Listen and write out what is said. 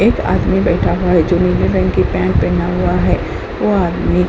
एक आदमी बैठा हुआ है जो नीले रंग की पेंट पहना हुआ है। वह आदमी --